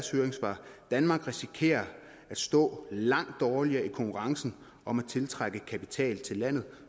høringssvar danmark risikerer at stå langt dårligere i konkurrencen om at tiltrække kapital til landet